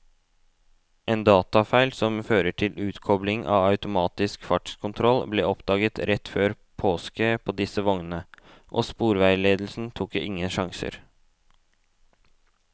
En datafeil som fører til utkobling av automatisk fartskontroll ble oppdaget rett før påske på disse vognene, og sporveisledelsen tok ingen sjanser.